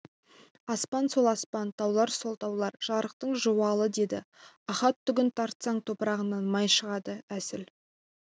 аспан сол аспан таулар сол таулар жарықтық жуалы деді ахат түгін тартсаң топырағынан май шығады әсіл